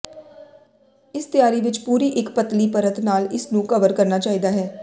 ਇਸ ਤਿਆਰੀ ਵਿਚ ਪੂਰੀ ਇੱਕ ਪਤਲੀ ਪਰਤ ਨਾਲ ਇਸ ਨੂੰ ਕਵਰ ਕਰਨਾ ਚਾਹੀਦਾ ਹੈ